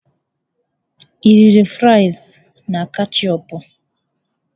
Ị riri frịsị na ketchịupụ?